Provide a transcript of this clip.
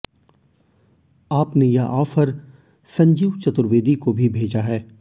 आप ने यह ऑफर संजीव चतुर्वेदी को भी भेजा है